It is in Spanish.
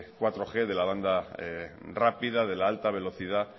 laug de la banda rápida de la alta velocidad